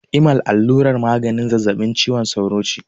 Imal allurar maganin zazzaɓin cizon sauro ce.